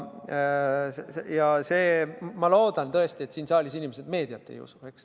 Ja ma loodan tõesti, et siin saalis inimesed meediat ei usu.